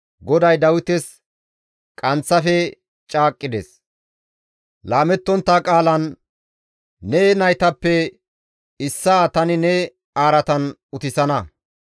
GODAY Dawites qanththafe caaqqides; laamettontta qaalan, «Ne naytappe issaa tani ne araatan utissana.